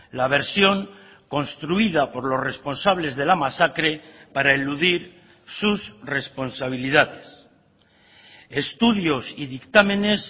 la versión construida por los responsables de la masacre para eludir sus responsabilidades estudios y dictámenes